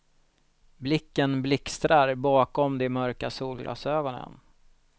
Blicken blixtrar bakom de mörka solglasögonen.